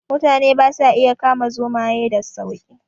Mutane ba sa iya kama zomaye sa sauki